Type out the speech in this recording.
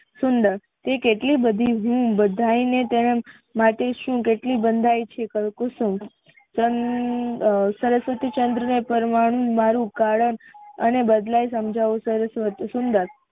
સુંદર તે કેટલી બધી હમ બધાય ને માટે તેમ માટે હું કેટલી બંધાયી છે કુસુમ અમ સરસ્વતીચંદ્ર ને પરમાણુ મારુ કારણ અને બદલાય સમજવા સરસ્વતી સુંદર